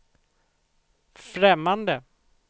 främmande